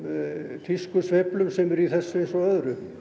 tískusveiflum sem eru í þessu eins og öðru